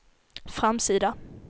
framsida